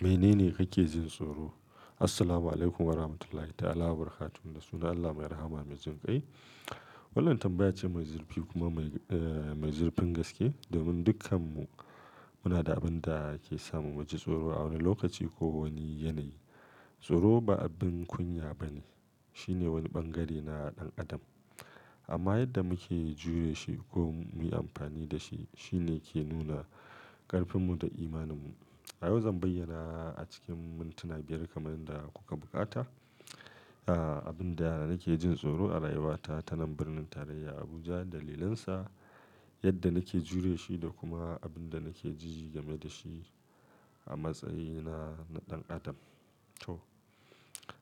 Menene kake jin tsoro? Assalamualaikum warahmatullahi ta'ala wabarakatuh. Da sunan Allah mai rahama mai jan kai. Wannan tambaya ce mai zurfi kuma mai zurfin gaske domin dukkanmu muna da abin da ke sa mu miji tsoro a wani lokaci ko wani yanayi. Tsoro ba abin kunya ba ne. Shi ne wani bangare na ɗan adam. Amma yadda muke jure shi ko muyi amfani da shi, shi ne ke nuna ƙarfinmu da imaninmu. A yau zan bayyana a cikin mintuna biyar kamar yadda kuka buƙata, a abin da nake jin tsoro a rayuwata, tanan birnin tarayya Abuja, dalilansa, yadda nake jure shi da kuma abin da nake ji game da shi a matsayina na ɗan adam. To,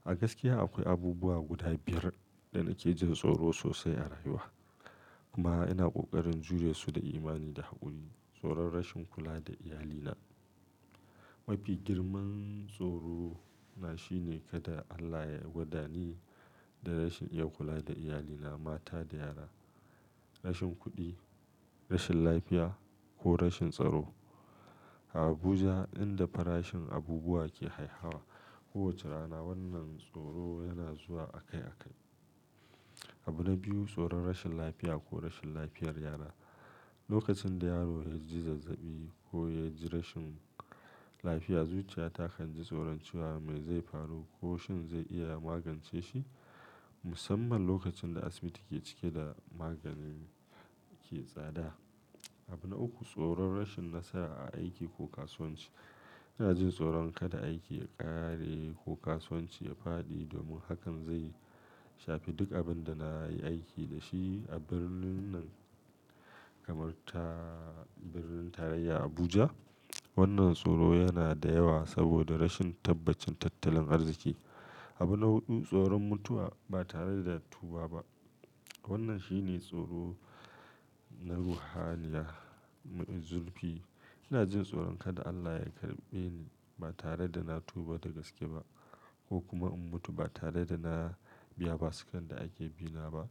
a gaskiya akwai abubuwa guda biyar da nake jin tsoro sosai a rayuwa. Kuma ina ƙoƙarin jure su da imani da haƙuri. Tsoron rashin kula da iyalina. Mafi girman tsoro na shine kada Allah ya gwada ni da rashin iya kula da iyalina, mata da yara. Rashin kuɗi, rashin lafiya ko rashin tsaro. A Abuja inda farashin abubuwa ke haihawa kowace rana, wannan tsoro yana zuwa akai-akai. Abu na biyu, tsoron rashin lafiya ko rashin lafiyar yara. Lokacin da yaro ya ji zazzaɓi ko ya ji rashin lafiya, zuciyata kan ji tsoron cewa me zai faru ko shin zai iya magance shi. Musamman lokacin da asibiti ke cike da magani ke tsada. Abu na uku, tsoron rashin nasara a aiki ko kasuwanci. Ina jin tsoron kada aiki ya ƙare ko kasuwanci ya faɗi domin hakan zai shafi duk abin da na yi aiki da shi a birnin nan kamar ta birnin tarayya Abuja. Wannan tsoro yana da yawa saboda rashin tabbacin tattalin arziki. Abu na huɗu, tsoron mutuwa ba tare da tuba ba. Wannan shi ne tsoro na ruhaniya mai zurfi. Ina jin tsoron kada Allah ya karɓe ni ba tare da na tuba da gaske ba ko kuma in mutu ba tare da na biya basukan da ake bina ba.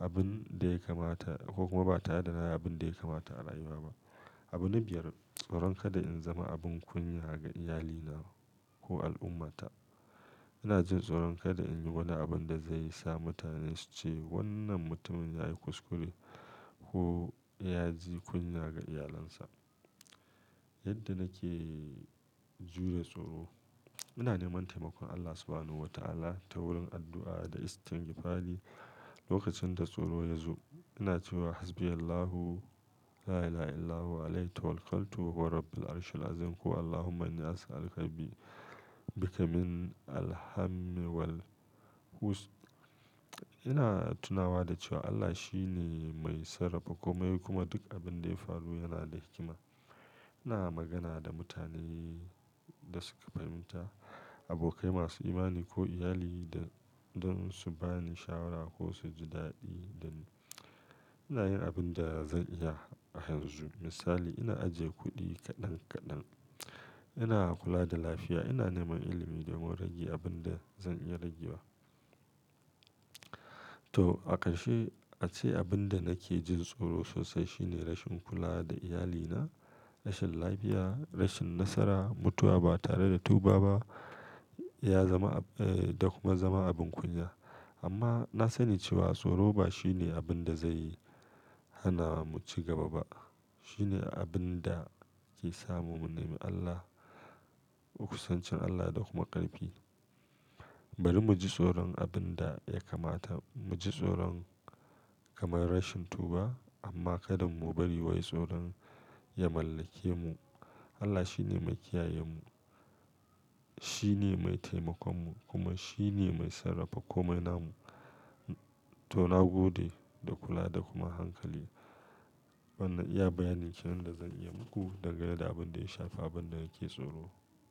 Abin da ya kamata ko kuma ba tare da na yi abin da ya kamata a rayuwa ba. Abu na biyar, tsoron kada in zama abin kunya ga iyalina ko al'ummata. Ina jin tsoron kada in yi wani abin da zai sa mutane su ce wannan mutumin ya yi kuskure ko ya ji kunya ga iyalinsa. Yadda nake jure tsoro, ina neman taimakon Allah Subhanahuwata'ala ta wurin addu'a da istigfari lokacin da tsoro ya zo. Ina cewa hasbiyallahu lailaillahu alayhitawakkaltu wahuwarabbilarshilazim ko allahumma innias'alukabi bikaminalhammiwalhuz. Ina tunawa da cewa Allah shi ne mai sarrafa kome kuma duk abin da ya faru yana da hikima. Ina magana da mutane da suka fahimta, abokai masu imani ko iyali don su ba ni shawara ko su ji daɗi da ni. Ina yin abin da zan iya a yanzu. Misali, ina ajiye kuɗi kaɗan kaɗan, ina kula da lafiya, ina neman ilimi domin rage abin da zan iya ragewa. To, a ƙarshe ace abin da nake jin tsoro sosai shi ne rashin kula da iyalina, rashin lafiya, rashin nasara, mutuwa ba tare da tuba ba ya zama da kuma zama abun kunya. Amma na sani cewa tsoro ba shi ne abin da zai hana mu cigaba ba. Shi ne abin da ke sa mu nemi Allah, mu kusancin Allah da kuma ƙarfi. Bari mu ji tsoron abun da ya kamata. Mu ji tsoron kamar rashin tuba amma kada mu bari wai tsoron ya mallake mu. Allah shi ne mai kiyayemu. Shi ne mai taimakonmu kuma shi ne mai sarrafa komai namu. To, na gode da kula da kuma hankali. Wanan iya bayanin kenan da zan iya muku dagane da abun da ya shafi abun da nake tsoro.